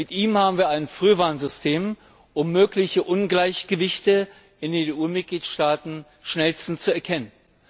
Mit ihm haben wir ein Frühwarnsystem, um mögliche Ungleichgewichte in den EU Mitgliedstaaten schnellstens zu erkennen.